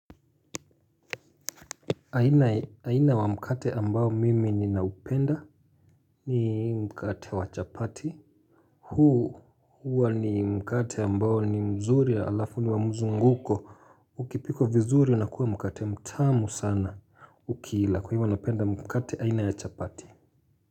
Aina wa mkate ambao mimi ninaupenda ni mkate wachapati. Huu huwa ni mkate ambao ni mzuri alafu ni wamuzunguko. Ukipikwa vizuri unakuwa mkate mtamu sana ukila kwa hivyo napenda mkate aina ya chapati.